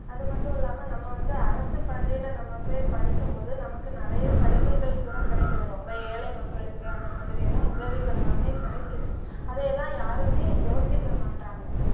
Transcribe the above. அது மட்டும் இல்லாம நம்ம வந்து, அரசு பள்ளியிலே நம்ம போய் படிக்கும் போது நமக்கு நிறைய சலுகைகள் கூட கிடைக்குது ரொம்ப ஏழை மக்களுக்கு அந்த மாதிரி எல்லாம் உதவிகள் எல்லாமே கிடைக்குது. அதை எல்லாம் யாருமே யோசிக்க மாட்றாங்க